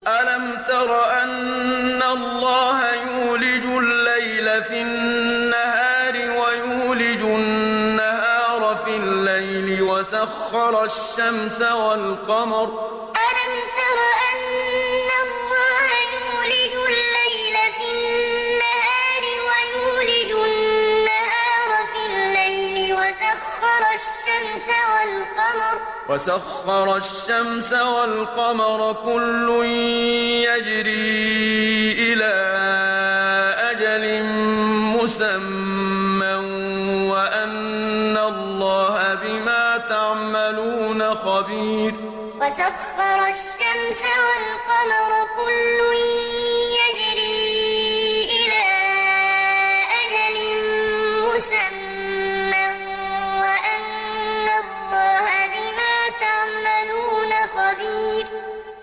أَلَمْ تَرَ أَنَّ اللَّهَ يُولِجُ اللَّيْلَ فِي النَّهَارِ وَيُولِجُ النَّهَارَ فِي اللَّيْلِ وَسَخَّرَ الشَّمْسَ وَالْقَمَرَ كُلٌّ يَجْرِي إِلَىٰ أَجَلٍ مُّسَمًّى وَأَنَّ اللَّهَ بِمَا تَعْمَلُونَ خَبِيرٌ أَلَمْ تَرَ أَنَّ اللَّهَ يُولِجُ اللَّيْلَ فِي النَّهَارِ وَيُولِجُ النَّهَارَ فِي اللَّيْلِ وَسَخَّرَ الشَّمْسَ وَالْقَمَرَ كُلٌّ يَجْرِي إِلَىٰ أَجَلٍ مُّسَمًّى وَأَنَّ اللَّهَ بِمَا تَعْمَلُونَ خَبِيرٌ